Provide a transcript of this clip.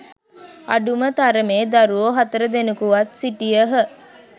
අඩුම තරමේ දරුවෝ හතර දෙනකුවත් සිටියහ